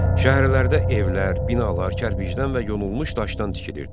Şəhərlərdə evlər, binalar kərpicdən və yonulmuş daşdan tikilirdi.